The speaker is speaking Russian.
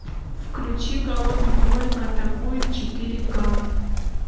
включи голодный кролик атакует четыре к